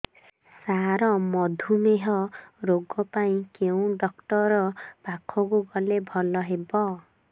ସାର ମଧୁମେହ ରୋଗ ପାଇଁ କେଉଁ ଡକ୍ଟର ପାଖକୁ ଗଲେ ଭଲ ହେବ